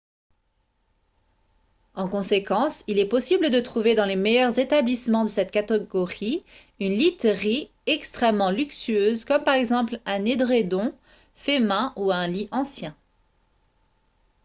en conséquence il est possible de trouver dans les meilleurs établissements de cette catégorie une literie extrêmement luxueuse comme par exemple un édredon fait main ou un lit ancien